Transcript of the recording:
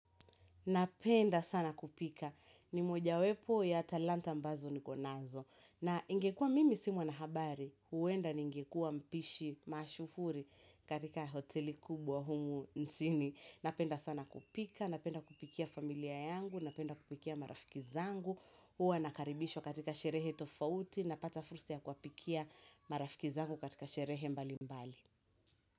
Napenda sana kupika ni moja wepo ya talanta mbazo nikonazo na ingekuwa mimi si mwanahabari huenda ningekuwa mpishi mashuhuri katika hoteli kubwa humu nchini. Napenda sana kupika, napenda kupikia familia yangu, napenda kupikia marafiki zangu, huwa nakaribishwa katika sherehe tofauti napata fursa ya kuwapikia marafiki zangu katika sherehe mbali mbali.